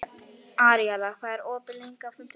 Aríela, hvað er opið lengi á fimmtudaginn?